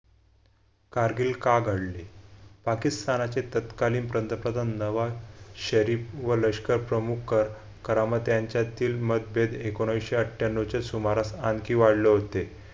कारगिल का घडली पाकिस्तानाचे तत्कालीन पंतप्रधान नवा शरीफ व लष्कर प्रमुख कर करामत यांच्यातील मतभेद एकोणीसशे अठ्ठ्याण्णव च्या सुमारास आणखी वाढले होते.